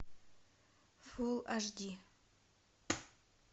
фулл аш ди